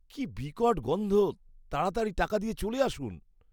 কি বিকট গন্ধ। তাড়াতাড়ি টাকা দিয়ে চলে আসুন।